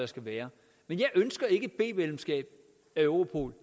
skal være men jeg ønsker ikke et b medlemskab af europol